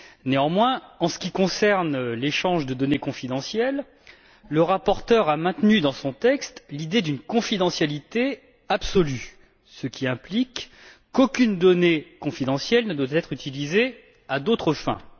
Néanmoins, en ce qui concerne l'échange de données confidentielles, le rapporteur a maintenu dans son texte l'idée d'une confidentialité absolue, ce qui implique qu'aucune donnée confidentielle ne doit être utilisée à d'autres fins.